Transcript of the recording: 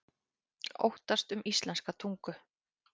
Óttast um íslenska tungu